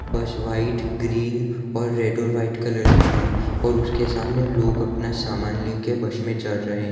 बस white green और red और व्हाइट कलर की है और उसके सामने लोग अपना सामान लेकर बस में चढ़ रहे हैं।